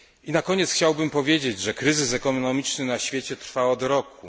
Na koniec chciałbym powiedzieć, że kryzys ekonomiczny na świecie trwa od roku.